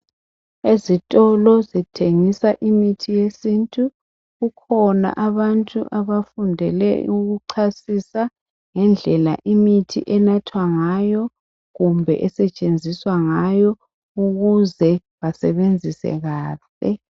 Ezitolo ezithengisa imithi yesintu kukhona abantu abafundele ukuchasisa ngendlela imithi enathwa ngayo kumbe esetshenziswa ngayo ukuze basebenzisa kahle